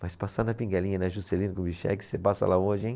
Mas passar na Pinguelinha, na, Juscelino Kubitschek, você passa lá hoje, hein?